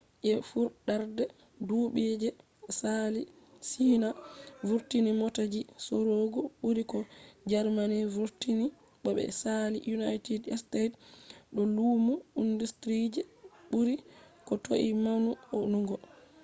je fuɗɗarde duɓu je saali china vurtini mota ji sorugo ɓuri ko germany vurtini bo ɓe saali united states do lumo industry je ɓuri ko toi maunugo